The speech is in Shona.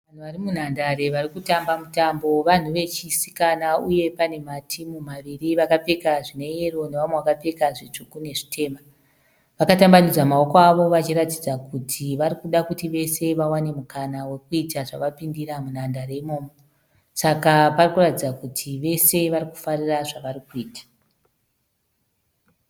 Vanhu vari munhandare vari kutamba mutambo. Vanhu vechisikana uye pane matimu maviri vakapfeka zvine yero nevamwe vakapfeka zvitsvuku nezvitema. Vakatambanudza maoko avo vachiratidza kuti vari kuda kuti vese vawane mukana wokuita zvavapindira munhandare imomo. Saka pari kuratidza kuti vese vari kufarira zvavari kuita.